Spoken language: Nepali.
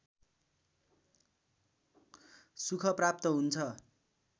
सुख प्राप्त हुन्छ